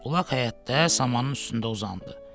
Ulaq həyətdə samanın üstündə uzandı.